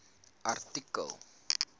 artikel